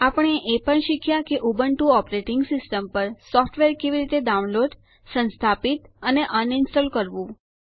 આપણે એ પણ શીખ્યા કે ઉબુન્ટુ ઓપરેટીંગ સિસ્ટમ પર સોફ્ટવેર કેવી રીતે ડાઉનલોડ સંસ્થાપિત અને અનઇન્સ્ટોલ એટલે કે રદ કરવું